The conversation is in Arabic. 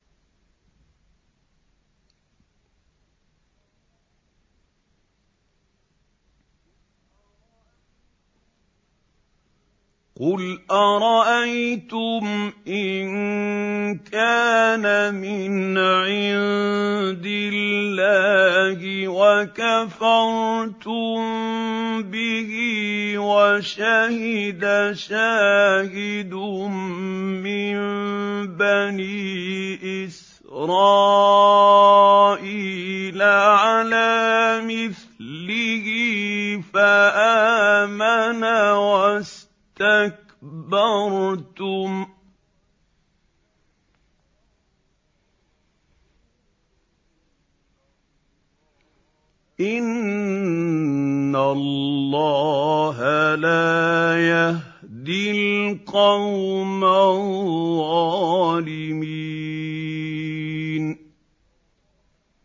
قُلْ أَرَأَيْتُمْ إِن كَانَ مِنْ عِندِ اللَّهِ وَكَفَرْتُم بِهِ وَشَهِدَ شَاهِدٌ مِّن بَنِي إِسْرَائِيلَ عَلَىٰ مِثْلِهِ فَآمَنَ وَاسْتَكْبَرْتُمْ ۖ إِنَّ اللَّهَ لَا يَهْدِي الْقَوْمَ الظَّالِمِينَ